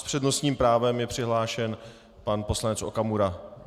S přednostním právem je přihlášen pan poslanec Okamura.